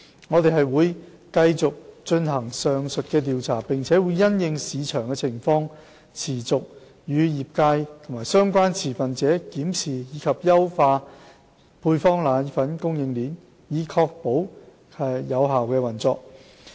我們會繼續進行上述調查，並會因應市場情況持續與業界及相關持份者檢視及優化配方粉供應鏈，以確保其有效運作。